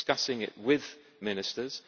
discussing it with Ministers.